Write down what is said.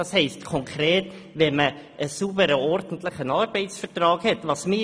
Dies bedeutet konkret, einen sauberen, ordentlichen Arbeitsvertrag zu haben.